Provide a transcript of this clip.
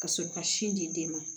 Ka sɔrɔ ka sin di den ma